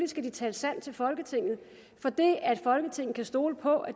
skal de tale sandt til folketinget for det at folketinget kan stole på at